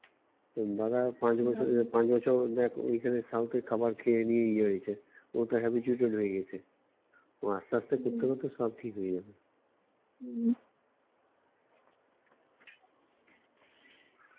তোর দাদা পাঁচ বছরে পাঁচ বছর দেখ ওখানের South এর খাবার খেয়ে নিয়ে ইয়ে হয়েছে ও তো habituate হয়ে গেছে ও আস্তে আস্তে করতে করতে সব ঠিক হয়ে যাবে